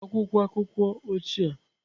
Akwụkwọ akụkọ ochie.